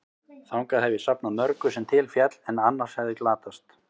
Þangað hef ég safnað mörgu, sem til féll, en annars hefði glatast.